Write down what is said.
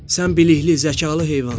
Sən bilikli, zəkalı heyvansan.